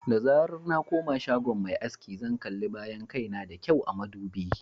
Da zarar na koma shagon mai aski, zan kalli bayan kai na da kyau a madubi.